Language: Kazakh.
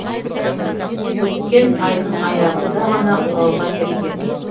өткен айдың аяғында ғана оралға келген